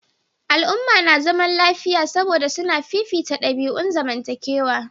Al'umma na zaman lafiya saboda suna fifita dabi'un zamantakewa.